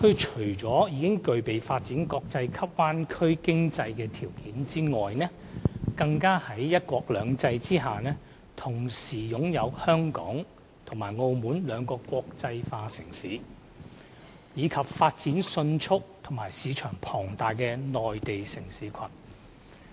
除了具備發展國際級灣區經濟的條件外，大灣區更在"一國兩制"下同時擁有香港及澳門兩個國際化城市，以及發展迅速和市場龐大的內地城市群。